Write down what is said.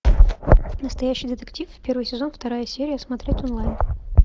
настоящий детектив первый сезон вторая серия смотреть онлайн